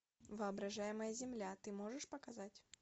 воображаемая земля ты можешь показать